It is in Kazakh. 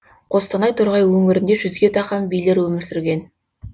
қостанай торғай өңірінде жүзге тақам билер өмір сүрген